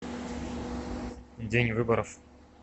день выборов